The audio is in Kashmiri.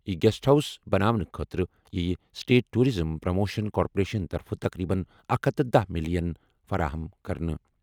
یہِ گیسٹ ہاؤس بناونہٕ خٲطرٕ یِیہِ سٹیٹ ٹورازم پروموشن کارپوریشن طرفہٕ تقریباً 110 ملین فراہم کرنہٕ۔